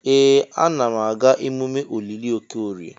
Ee! Ana m aga emume olili Okorie.